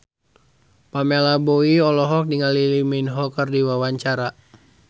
Pamela Bowie olohok ningali Lee Min Ho keur diwawancara